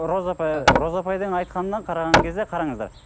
роза апай ы роза апайдың айтқанына қараған кезде қараңыздар